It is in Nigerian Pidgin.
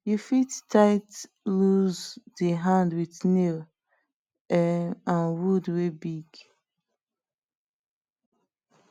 you fit tight loose di hand with nail um and wood wey big